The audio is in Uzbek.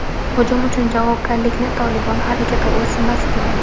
Hujum uchun javobgarlikni "Tolibon" harakati o‘z zimmasiga oldi.